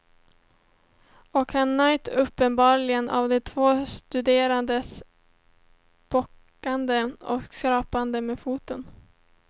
Och han njöt uppenbarligen av de två studenternas bockande och skrapande med foten.